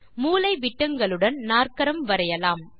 மூலைவிட்டங்களுடன் நாற்கரம் வரையலாம்